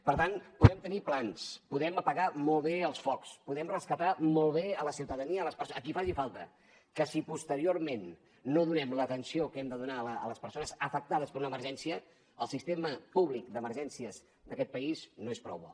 per tant podem tenir plans podem apagar molt bé els focs podem rescatar molt bé la ciutadania a qui faci falta que si posteriorment no donem l’atenció que hem de donar a les persones afectades per una emergència el sistema públic d’emergències d’aquest país no és prou bo